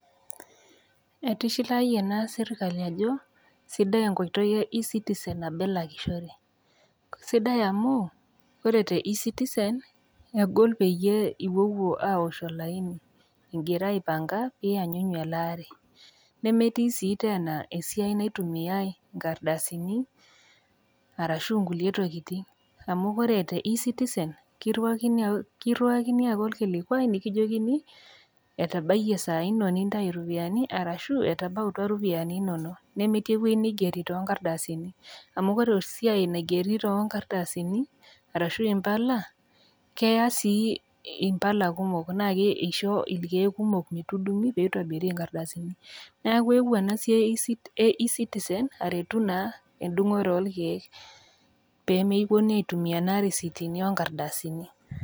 Etishilaayie naa serkali ajo sidai enkoitoi e eCitizen nabo elakishore. Sidai amuu ore te eCitizen egol pee iwuowuo aosh olaini ingira aipanga pee iyanyu elaare, nemetii sii teena esiai naitumia inkardasini arashu inkulie tokitin. Amu ore te eCitizen kiruakini ake olkilikua nikijokini etabaiye isai ino nitainye iropiani, arashu etabautwa iropiani inono, nemetii ewueji naigero too inkardasini. Amu ore esiai naigeri too inkardasini arashu Impala, keyaa sii Impala kumok naake eisho ilkeek kumok metudungi naake, pee eitobiri inkardasini. Neaku ewuo ena siai e eCitizen aretu naa endungore oo olkeek pee mewuonuni naa aitumia irisitini oo nkardasini.